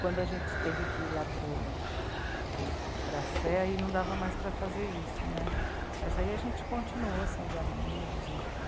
Quando a gente teve que ir lá para o... para a Sé, aí não dava mais para fazer isso, né, mas aí a gente continuou sendo amigos, enfim.